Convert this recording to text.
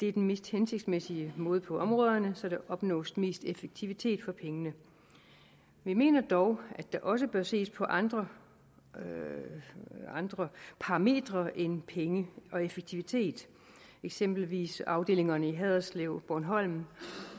er den mest hensigtsmæssige måde på områderne så der opnås mest effektivitet for pengene vi mener dog at der også bør ses på andre andre parametre end penge og effektivitet eksempelvis angående afdelingerne i haderslev og på bornholm